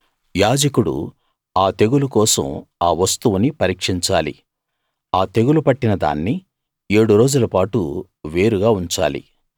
యాజకుడు ఆ తెగులు కోసం ఆ వస్తువుని పరీక్షించాలి ఆ తెగులు పట్టిన దాన్ని ఏడురోజుల పాటు వేరుగా ఉంచాలి